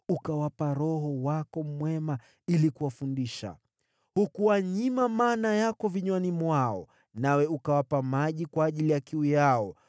Uliwapa Roho wako mwema ili kuwafundisha. Hukuwanyima mana yako vinywani mwao, nawe ukawapa maji kwa ajili ya kiu yao.